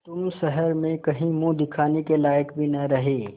तुम शहर में कहीं मुँह दिखाने के लायक भी न रहे